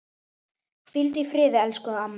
Hvíldu í friði, elsku amma.